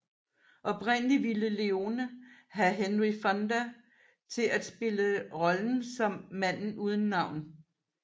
Oprindelig ville Leone have Henry Fonda til at spille rollen som Manden uden navn